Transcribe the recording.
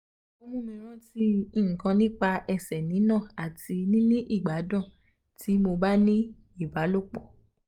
o um mumi ranti nkan nipa ese ni na ati um nini igbadun ti mo ba ni ibalopo